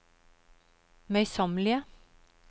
møysommelige